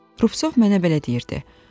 Rupsov mənə belə deyirdi.